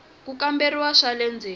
ku kamberiwa swa le ndzeni